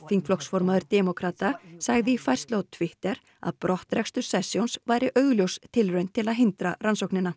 þingflokksformaður demókrata sagði í færslu á Twitter að brottrekstur sessions væri augljós tilraun til að hindra rannsóknina